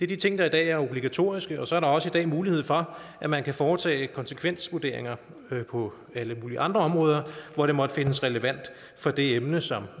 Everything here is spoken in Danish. de ting der i dag er obligatoriske og så er der også i dag mulighed for at man kan foretage konsekvensvurderinger på alle mulige andre områder hvor det måtte findes relevant for det emne som